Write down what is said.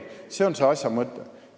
See on asja mõte.